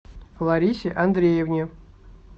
ларисе андреевне